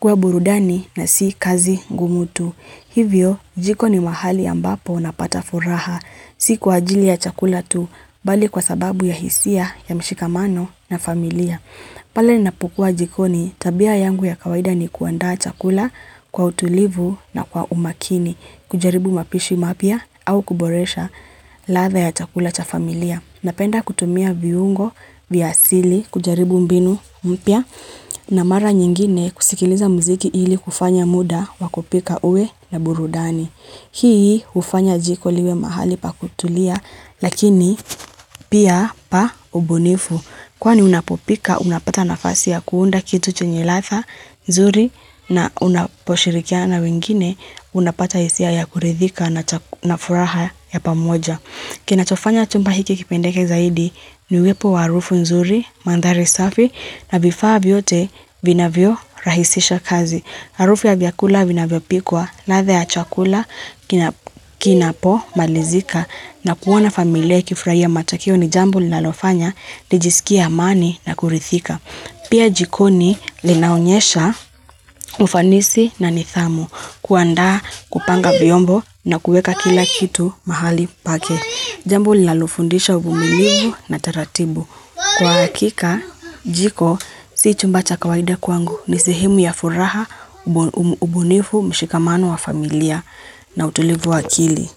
kwa burudani na si kazi ngumu tu. Hivyo, jiko ni mahali ambapo unapata furaha, si kwa ajili ya chakula tu, bali kwa sababu ya hisia, ya mshikamano na familia. Pala ni napokua jikoni, tabia yangu ya kawaida ni kuandaa chakula kwa utulivu na kwa umakini, kujaribu mapishi mapya au kuboresha latha ya chakula cha familia. Napenda kutumia viungo, vya asili, kujaribu mbinu mpia na mara nyingine kusikiliza mziki ili kufanya muda wa kupika uwe na burudani. Hii ufanya jiko liwe mahali pa kutulia lakini pia pa ubunifu kwani unapopika unapata nafasi ya kuunda kitu chenye latha nzuri na unaposhirikia na wengine unapata isia ya kuridhika na furaha ya pamoja. Kinachofanya chumba hiki kipendeke zaidi ni wepo wa arufu nzuri, mandhari safi, na vifaa vyote vina vio rahisisha kazi. Arufu ya vyakula vina vio pikwa, latha ya chakula, kinapo, malizika, na kuwana familia kifraia matakio ni jambo linalofanya, lijisikia amani na kurithika. Pia jikoni linaonyesha ufanisi na nithamu kuanda kupanga viombo na kuweka kila kitu mahali pake. Jambo lilalofundisha ubumilivu na taratibu. Kwa hakika, jiko, si chumba cha kawaida kwangu ni sihimu ya furaha, ubunivu, mshikamano wa familia na utulivu wa akili.